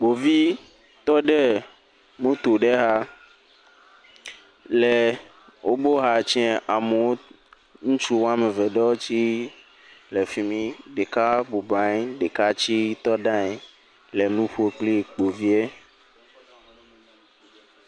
Ɖevi tɔ ɖe moto ɖe xa le wobe woawɔ atsɛ̃a amewo. Ŋutsu woame eve ɖewo tse le fimi, ɖeka bɔbɔ nɔ anyi, ɖeka tse tse te ɖe anyi le nuƒo kple ɖevia.